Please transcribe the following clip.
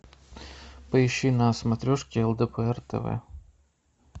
поищи на смотрешке лдпр тв